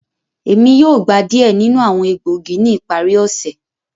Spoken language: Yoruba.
Emi yoo gba diẹ ninu awọn egboogi ni ipari ose.